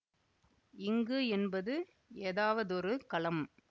இங்கு என்பது ஏதாவதொரு களம்